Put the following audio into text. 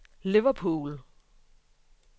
Liverpool